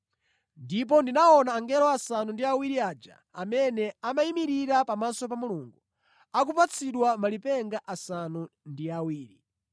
Ndipo ndinaona angelo asanu ndi awiri aja amene amayimirira pamaso pa Mulungu, akupatsidwa malipenga asanu ndi awiri.